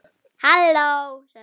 Verður hann í þínu liði?